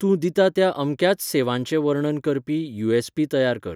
तूं दिता त्या अमक्याच सेवांचें वर्णन करपी यू.एस्.पी. तयार कर.